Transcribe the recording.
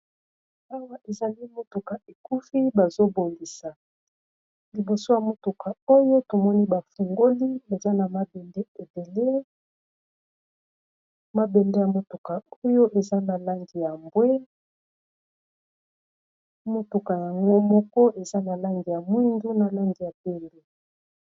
Awa ezali motuka ekufi bazo bongisa liboso ya motuka oyo tomoni bafungoli eza na mabende edele mabende ya motuka oyo eza na langi ya mbwe motuka yango moko eza na langi ya mwindu na langi ya pembe.